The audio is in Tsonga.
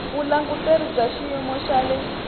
vulanguteri bya xiyimo xa le